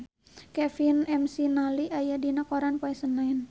Kevin McNally aya dina koran poe Senen